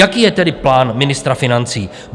Jaký je tedy plán ministra financí?